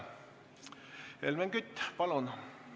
Helmen Kütt, palun!